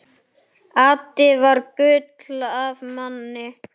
Addi var gull af manni.